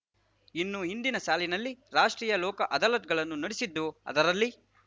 ಇನ್ನು ಹಿಂದಿನ ಸಾಲಿನಲ್ಲಿ ರಾಷ್ಟ್ರೀಯ ಲೋಕ ಅದಾಲತ್ ಗಳನ್ನು ನಡೆಸಿದ್ದು ಅದರಲ್ಲಿ